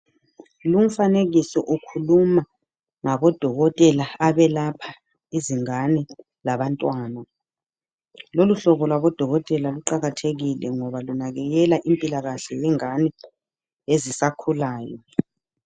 Lumfanekiso ukhuluma ngabodokotela abelapha izingane labantwana .Loluhlobo lwabodokotela luqakathekile ngoba lunakekela impilakahle yengane lezisakhulayo .